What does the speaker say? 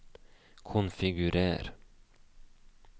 konfigurer